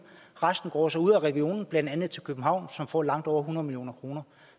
resten går så ud af regionen blandt andet til københavn som får langt over hundrede million kroner